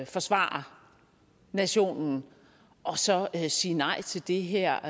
forsvare nationen og så sige nej til det her